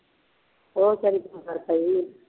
ਉਹ ਬੇਚਾਰੀ ਮਰ ਤਾਂ ਗਈ